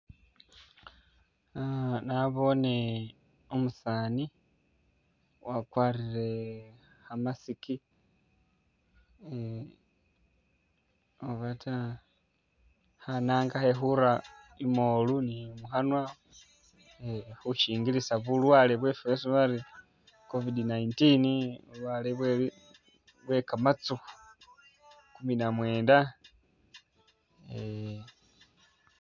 Ah nabone umusani wakwarire kha mask um ubata khananga khekhura imoolu ni mukhanwa khusyingilisa bulwale bwesi bari covid 19 bulwale bwe kamatsukhu 19 eeh.